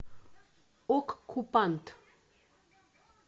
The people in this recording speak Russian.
оккупант